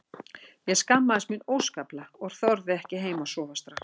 Ég skammaðist mín óskaplega og þorði ekki heim að sofa strax.